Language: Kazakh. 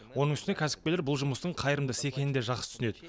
оның үстіне кәсіпкерлер бұл жұмыстың қайырымды іс екенін де жақсы түсінеді